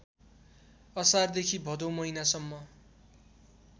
असारदेखि भदौ महिनासम्म